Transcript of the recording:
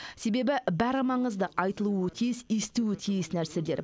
себебі бәрі бәрі маңызды айтылуы тиіс естуі тиіс нәрселер